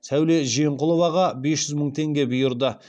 сәуле жиенқұловаға бұйырды